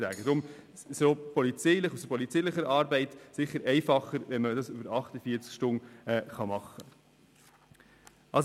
Es wäre für die polizeiliche Arbeit bestimmt einfacher, die Verfügung über 48 Stunden ausstellen zu können.